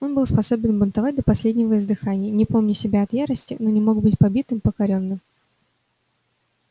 он был способен бунтовать до последнего издыхания не помня себя от ярости но не мог быть побитым покорённым